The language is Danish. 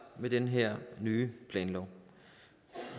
med den her nye planlov